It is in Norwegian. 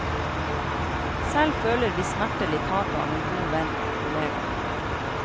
Selv føler vi smertelig tapet av en god venn og kollega.